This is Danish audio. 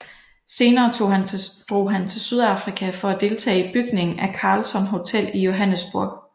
Senere drog han til Sydafrika for at deltage i bygningen af Carlton hotel i Johannesburg